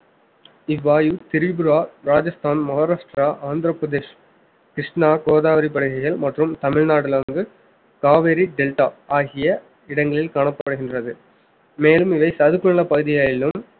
இவ்வாயு திரிபுரா, ராஜஸ்தான், மகாராஷ்டிரா, ஆந்திர பிரதேஷ், கிருஷ்ணா, கோதாவரி படுகைகள் மற்றும் தமிழ்நாட்டுல வந்து காவிரி டெல்டா ஆகிய இடங்களில் காணப்படுகின்றது மேலும் இவை சதுப்பு நில பகுதிகளிலும்